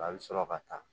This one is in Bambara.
A bɛ sɔrɔ ka taa